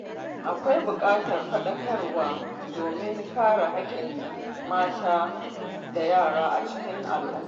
Akwai buƙatar fadakarwa domin kare haƙƙin mata da yara a cikin al’umma.